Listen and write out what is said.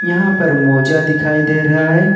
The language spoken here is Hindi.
यहां पर मोजा दिखाई दे रहा है।